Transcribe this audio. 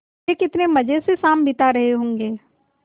वे कितने मज़े से शाम बिता रहे होंगे